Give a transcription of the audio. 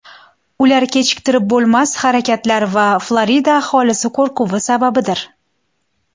Ular kechiktirib bo‘lmas harakatlar va Florida aholisi qo‘rquvi sababidir.